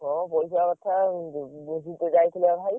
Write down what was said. ହଁ ପଇସା କଥା university ରେ ଯାଇଥିଲା ଭାଇ।